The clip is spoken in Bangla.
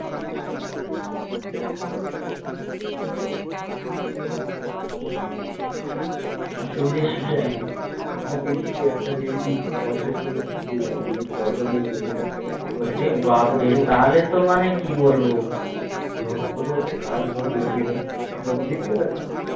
আবার যদি একটা মেয়ে যদি পঁয়ত্রিশ ফুলে যায় যদি পয়সার মুখ দেখে নেয় ধরে কোনো একটা কাজ ও দেখেনিল ধরে যেকোনো একটা কাজ